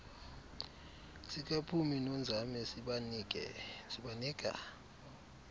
sikaphumi nonzame sibanika